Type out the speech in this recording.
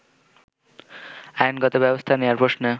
আইনগত ব্যবস্থা নেওয়ার প্রশ্নে